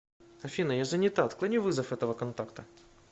афина я занята отклони вызов этого контакта